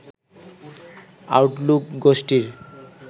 Outlook গোষ্ঠীর